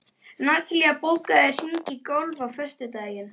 Natalí, bókaðu hring í golf á föstudaginn.